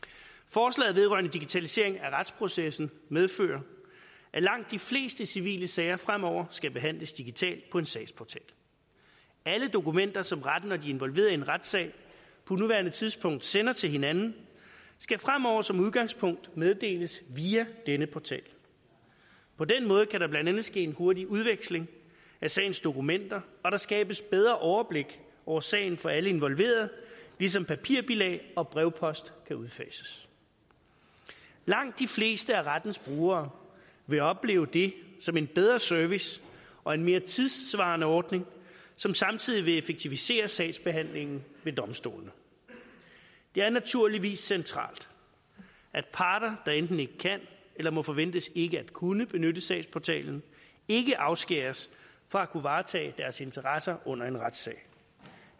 forslaget vedrørende digitalisering af retsprocessen medfører at langt de fleste civile sager fremover skal behandles digitalt på en sagsportal alle dokumenter som retten og de involverede i en retssag på nuværende tidspunkt sender til hinanden skal fremover som udgangspunkt meddeles via denne portal på den måde kan der blandt andet ske en hurtig udveksling af sagens dokumenter og der skabes bedre overblik over sagen for alle involverede ligesom papirbilag og brevpost kan udfases langt de fleste af rettens brugere vil opleve det som en bedre service og en mere tidssvarende ordning som samtidig vil effektivisere sagsbehandlingen ved domstolene det er naturligvis centralt at parter der enten ikke kan eller må forventes ikke at kunne benytte sagsportalen ikke afskæres fra at kunne varetage deres interesser under en retssag